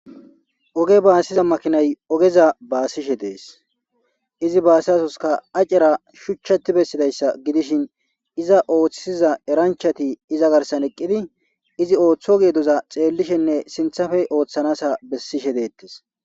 Oge baasiza makinay ogeza baasishe dees izi baasizasoska acera shuchchati bessidayssa gidishin iza ooththiza eranchati iza garsan eqqidi izi ooththo geedoza xeellishenne sinthafey ooththanasa bessishe deettes.